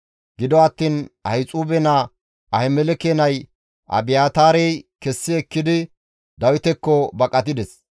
Gido attiin Ahixuube naa Ahimeleke nay Abiyaataarey kessi ekkidi Dawitekko baqatides.